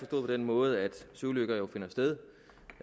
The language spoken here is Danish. på den måde at søulykker jo finder sted